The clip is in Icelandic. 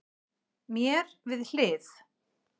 Mér við hlið